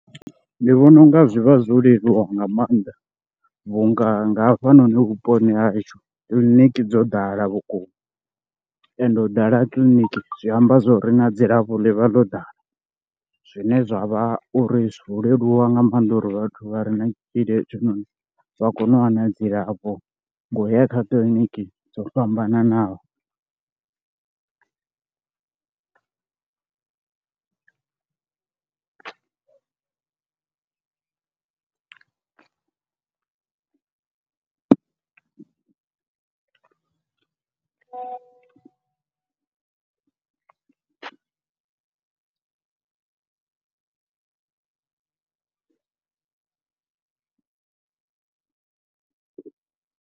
Ndi vhona u nga zwi vha zwo leluwa nga maanḓa vhu nga nga hafha noni vhuponi hashu kiḽiniki dzo ḓala vhukuma, ende u ḓala ha kiḽiniki zwi amba zwo ri na dzilafho ḽi vha ḽo ḓala. Zwine zwa vha uri zwo leluwa nga maanḓa uri vhathu vha re na tshitzhili hetshi noni vha kone u wana dzilafho nga u ya kha kiḽiniki dzo fhambananaho.